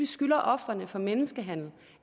skylder ofrene for menneskehandel